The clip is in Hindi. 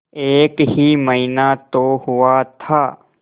एक ही महीना तो हुआ था